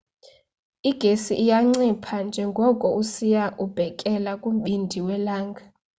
igesi iya incipha njengoko usiya ubhekela kumbindi welanga